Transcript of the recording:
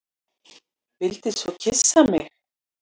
Vildi svo kyssa mig.